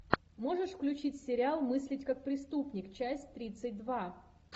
можешь включить сериал мыслить как преступник часть тридцать два